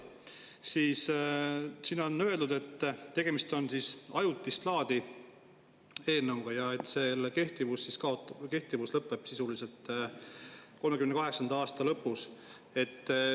Siin on öeldud, et tegemist on ajutist laadi eelnõuga ja selle kehtivus lõpeb sisuliselt 2038. aasta lõpus.